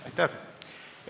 Aitäh!